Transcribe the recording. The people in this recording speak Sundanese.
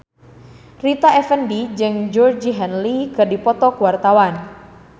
Rita Effendy jeung Georgie Henley keur dipoto ku wartawan